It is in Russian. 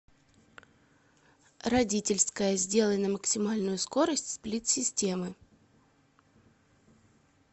родительская сделай на максимальную скорость сплит системы